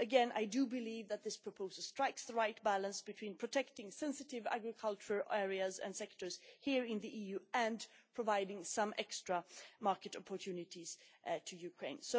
I believe that this proposal strikes the right balance between protecting sensitive agricultural areas and sectors here in the EU and providing some extra market opportunities to Ukraine.